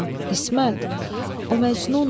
Orxan, İsmət, o məcnundur.